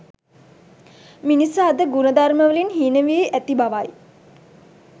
මිනිසා අද ගුණධර්මවලින් හීනවි වී ඇති බවයි